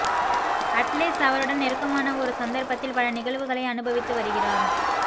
அட்லேஸ்ஸ் அவருடன் நெருக்கமான ஒரு சந்தர்ப்பத்தில் பல நிகழ்வுகளை அனுபவித்து வருகிறார்